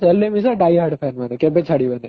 ହେଲେ ବି ସେ die hard fans ମାନେ କେବେ ବି ଛାଡି ବେନି